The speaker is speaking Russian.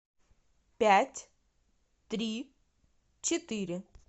пять три четыре